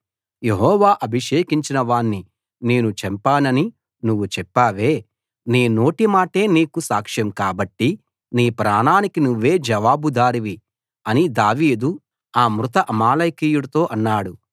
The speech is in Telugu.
యెహోవా అభిషేకించిన వాణ్ణి నేను చంపానని నువ్వు చెప్పావే నీ నోటి మాటే నీకు సాక్ష్యం కాబట్టి నీ ప్రాణానికి నువ్వే జవాబుదారివి అని దావీదు ఆ మృత అమాలేకీయుడితో అన్నాడు